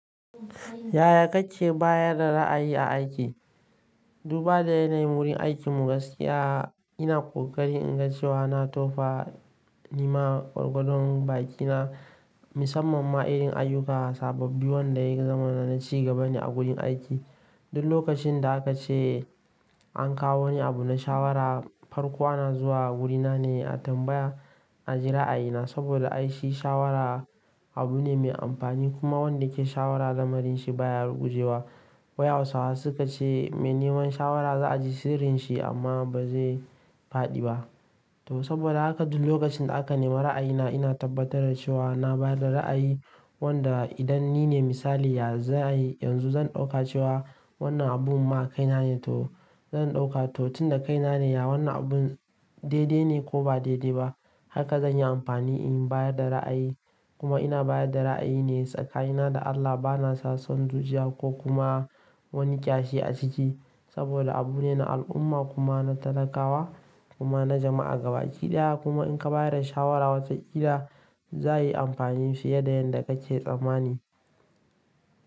Yaya kake bayar da ra'ayi aiki? Duba da yanayin wurin aikin mu gaskiya, ina ƙoƙari in ga cewa na tofa ni ma gwargwadon bakina, musamman ma irin ayyuka sababbi wanda ya yi zaman na ci gaba ne a gurin aiki. Duk lokacin da haka ce an kawo ni abu na shawara, farko ana zuwa wurina ne a tambaya, a ji ra'ayina saboda ai shi shawara abu ne mai amfani kuma wanda ke shawara zamanin shi baya rugujewa. Wa'yawsawa suka ce me neman shawara za a ji sirrin shi amma ba zai faɗi ba. To saboda haka duk lokacin da aka nemi ra'ayina ina tabbatar da cewa na bayar da ra'ayi wanda idan nine misali ya, zan yi yanzu zan ɗauka cewa wannan abun ma kai na ne to zan ɗauka to tunda kai na ne ya wannan abun daidai ne ko ba daidai ba, haka zan yi amfani in bayar da ra'ayi. Kuma ina bayar da ra'ayi ne tsakanina da Allah bana sassan zuciya ko kuma wani kyashi a ciki saboda abu ne na al'umma kuma na talakawa kuma na jama'a gabaɗaya kuma in ka bayar da shawara wataƙila za yi amfani fiye da yadda kake tsammani.